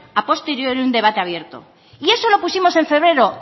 a posteriori un debate abierto y eso lo pusimos en febrero